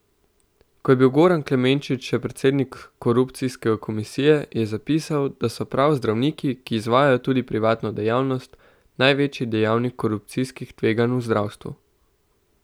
Ko je bil Goran Klemenčič še predsednik korupcijske komisije, je zapisal, da so prav zdravniki, ki izvajajo tudi privatno dejavnost, največji dejavnik korupcijskih tveganj v zdravstvu.